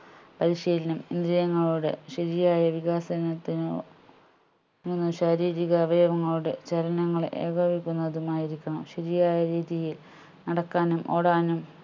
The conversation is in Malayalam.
പരിശീലനം വിജയങ്ങളുടെ ശരിയായ വികാസനത്തിനു നു ശാരീരിക അവയവങ്ങളുടെ ചലങ്ങളെ ഏകോപിക്കുന്നതുമായിരിക്കണം ശരിയായ രീതിയിൽ നടക്കാനും ഓടാനും